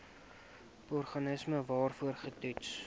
organisme waarvoor getoets